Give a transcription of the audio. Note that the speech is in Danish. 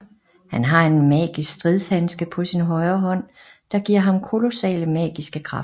Han har en magisk stridshandske på sin højre hånd der giver ham kolossale magiske kræfter